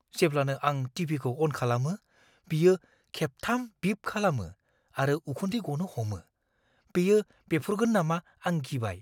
जेब्लानो आं टि.भि.खौ अन खालामो, बियो खेबथाम बिप खालामो आरो उखुन्दै गनो हमो। बेयो बेफ्रुगोन नामा आं गिबाय।